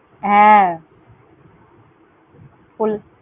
হ্যাঁ, কোল~